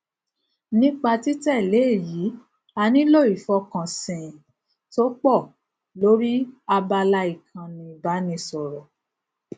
nípa títẹlé èyí a nílò ìfọkansìnn tó pọ lórí abala ìkànni ìbánisọrọ